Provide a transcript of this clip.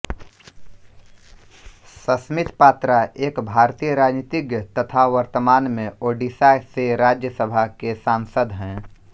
सस्मित पात्रा एक भारतीय राजनीतिज्ञ तथा वर्तमान में ओडिशा से राज्यसभा के सांसद हैं